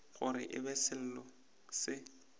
gore e be selo se